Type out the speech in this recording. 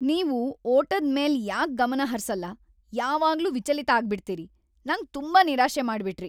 ನೀವು ಓಟದ್ ಮೇಲೆ ಯಾಕ್ ಗಮನ ಹರ್ಸಲ್ಲ? ಯಾವಾಗ್ಲೂ ವಿಚಲಿತ ಆಗ್ಬಿಡ್ತೀರಿ. ನಂಗ್‌ ತುಂಬಾ ನಿರಾಶೆ ಮಾಡ್ಬಿಟ್ರಿ.